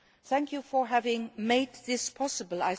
Thank you for having made this possible.